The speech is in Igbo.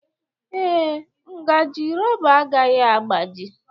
ee, ngaji rọba agaghị agbaji.